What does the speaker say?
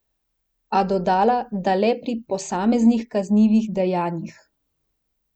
A dodala, da le pri posameznih kaznivih dejanjih.